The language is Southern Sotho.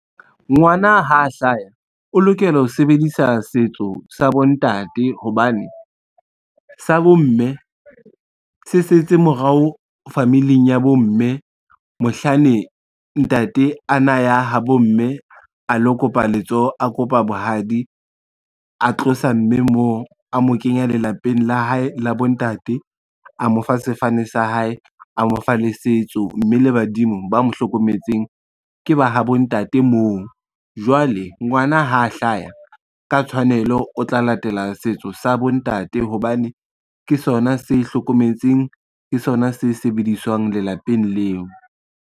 Ngwana ha hlaha o lokela ho sebedisa setso sa bontate hobane, sa bomme se setse morao familing ya bomme mohlane ntate ana ya ha bo mme a lo kopa letsoho, a kopa bohadi, a tlosa mme moo a mo kenya lelapeng la hae la bontate, a mo fa sefane sa hae, a mo fa le setso, mme le badimo ba mo hlokometseng ke ba ha bo ntate moo. Jwale ngwana ha hlaya ka tshwanelo o tla latela setso sa bontate hobane ke sona se hlokometseng, ke sona se sebediswang lelapeng leo.